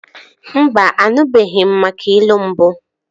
Mba, anụbeghi m maka ilu mbụ